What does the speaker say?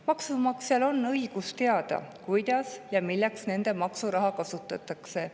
Maksumaksjatel on õigus teada, kuidas ja milleks nende maksuraha kasutatakse.